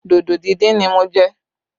Dodo díndín ni mo jẹ